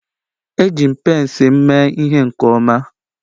Eji m pence m mee ihe nke ọma